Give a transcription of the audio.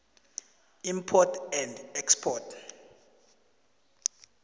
import and export